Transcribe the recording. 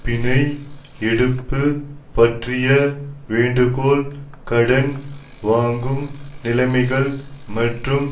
பிணை எடுப்பு பற்றிய வேண்டுகோள் கடன் வாங்கும் நிலைமைகள் மற்றும்